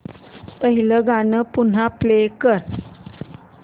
पहिलं गाणं पुन्हा प्ले कर